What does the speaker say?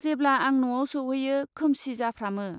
जेब्ला आं न'आव सौहैयो खोमसि जाफ्रामो।